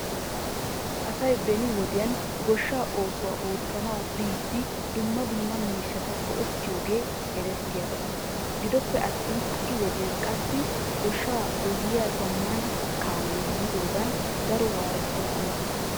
Asay beni wodiyan goshshaa oosuwa ootanaw biidi dumma dumma miishata go'etiyooge eretiyaaba. Gidoppe attin ha'i wodiyan qassi goshshaa goyyiyaa zamaana kaamee yiidogan daro wwaettokkona.